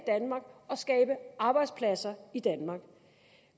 skabe arbejdspladser i danmark